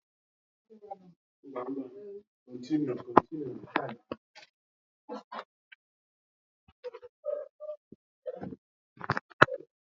Rigo osisi aki oyibo ahu ngwa ngwa!